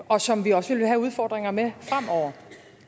og som vi også vil have udfordringer med fremover